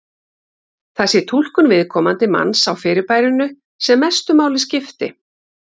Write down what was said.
Það sé túlkun viðkomandi manns á fyrirbærinu sem mestu máli skipti.